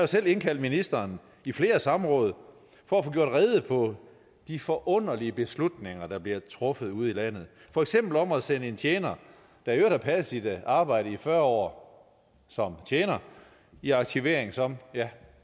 selv indkaldt ministeren i flere samråd for at få gjort rede for de forunderlige beslutninger der bliver truffet ude i landet for eksempel om at sende en tjener der i øvrigt har passet sit arbejde i fyrre år som tjener i aktivering som ja